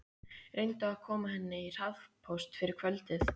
Reyndu að koma henni í hraðpóst fyrir kvöldið.